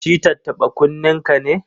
Shi tattaɓa-kunnenka ne?